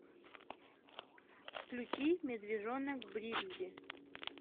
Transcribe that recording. включи медвежонок бригсби